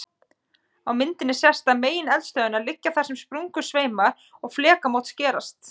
Á myndinni sést að megineldstöðvarnar liggja þar sem sprungusveimur og flekamót skerast.